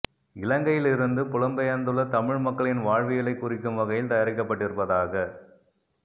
இலங்கையில் இருந்து புலம்பெயர்ந்துள்ள தமிழ் மக்களின் வாழ்வியலைக் குறிக்கும் வகையில் தயாரிக்கப்பட்டிருப்பதாகக்